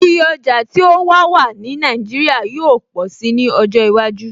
Iye ọjà tí ó wà wà ní Nàìjíríà yóó pọ̀si ní ọjọ́ iwájú